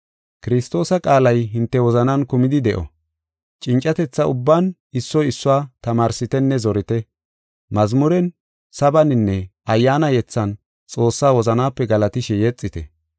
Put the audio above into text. Kiristoosa qaalay hinte wozanan kumidi de7o. Cincatetha ubban issoy issuwa tamaarsitenne zorite. Mazmuren, sabaninne ayyaana yethan Xoossaa wozanape galatishe yexite.